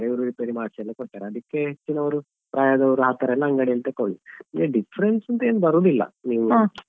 ಇವರು ರಿಪೇರಿ ಮಾಡ್ಸಿ ಎಲ್ಲ ಕೊಡ್ತಾರೆ ಅದಿಕ್ಕೆ ಹೆಚ್ಚಿನವ್ರು ಪ್ರಾಯದವರು ಆತರೆಲ್ಲಾ ಅಂಗಡಿಯಲ್ಲಿ ತೆಕ್ಕೊಳ್ಳುದು ಏನ್ difference ಅಂತ ಏನ್ ಬರುದಿಲ್ಲಾ.